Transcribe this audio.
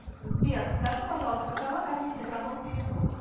сбер скажи пожалуйста какова комиссия за мой перевод